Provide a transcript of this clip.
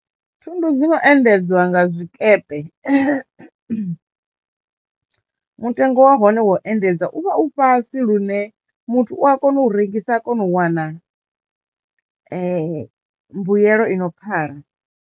Thundu dzo no endedzwa nga zwikepe mutengo wa hone wo endedza u vha u fhasi lune muthu u a kono u rengisa a kono u wana mbuyelo ino pfhala.